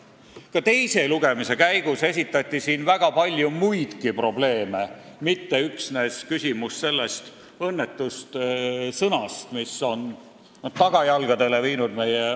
Ka teise lugemise käigus toodi siin esile väga palju muidki probleeme, mitte üksnes selle õnnetu sõna küsimust, mis on meie ajakirjanduse tagajalgadele viinud.